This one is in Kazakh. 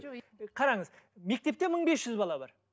қараңыз мектепте мың бес жүз бала бар